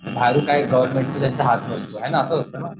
Government काही हात नसतो हे ना असंच असतं ना.